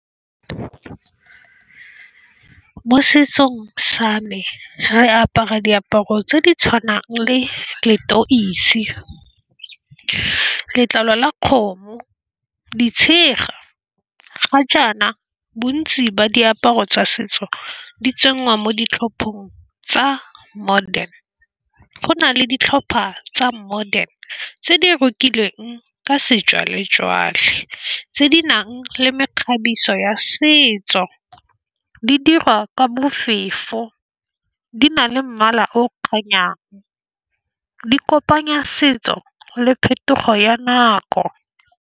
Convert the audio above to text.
Mo setsong sa me re apara diaparo tse di tshwanang le letoisi, letlalo la kgomo ditshega ga jaana. Bontsi ba diaparo tsa setso di tsengwa mo ditlhopheng tsa modern. Go na le ditlhopha tsa modern tse di rokilweng ka sejwale-jwale tse di nang le mekgabiso ya setso di dirwa ka bofefo, di na le mmala o o kopanyang di kopanya setso le phetogo ya nako.